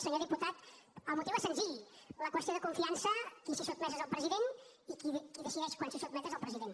senyor diputat el motiu és senzill a la qüestió de confiança qui s’hi sotmet és el president i qui decideix quan s’hi sotmet és el president